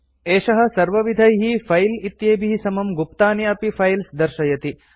एषः सर्वविधैः फाइल्स् इत्येभिः समं गुप्तानि अपि फाइल्स् दर्शयति